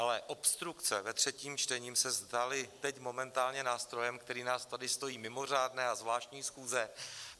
Ale obstrukce ve třetím čtení se staly teď momentálně nástrojem, který nás tady stojí mimořádné a zvláštní schůze.